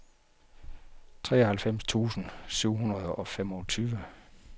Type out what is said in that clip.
treoghalvfems tusind syv hundrede og femogtyve